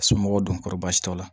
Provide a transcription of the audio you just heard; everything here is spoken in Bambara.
Somɔgɔw don kɔrɔbaasi la o la